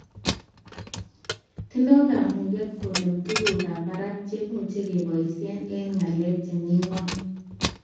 Tindoy kamuget konem tugukab barak chemuch keboishe eng ngalek chemi ngony